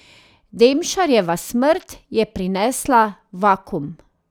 Demšarjeva smrt je prinesla vakuum.